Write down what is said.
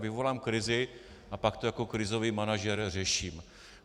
Vyvolám krizi a pak to jako krizový manažer řeším.